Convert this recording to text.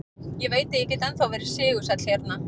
Ég veit að ég get ennþá verið sigursæll hérna.